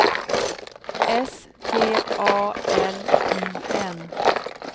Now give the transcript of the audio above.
S T A L I N